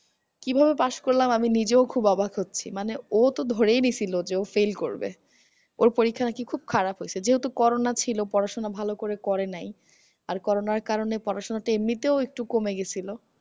কিভাবে pass করলাম আমি নিজেও খুব অবাক হচ্ছি মানে অতো ধরেই নিয়েসিলো যে ও fail করবে ওর পরীক্ষা নাকি খুব খারাপ হইসে যেহেতু করোনা ছিল পড়াশুনা ভালো করে করেনাই। আর করোনার কারণে পড়াশুনা এমনিতেও একটু কমে গেছিলো